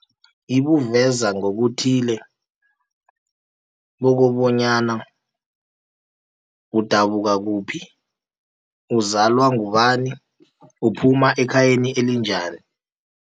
Ibuveza ngokuthile, kobonyana udabuka kuphi, uzalwa ngubani, uphuma ekhayeni elinjani.